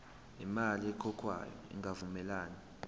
imali ekhokhwayo ingavumelani